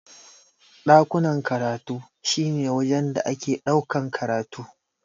Ɗakunan karatu shi ne wajen da ake ɗaukan karatu.